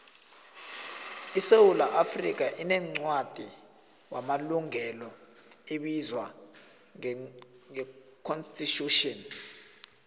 isewula afrikha inencwadi wamalungelo ebizwa ngeconsitution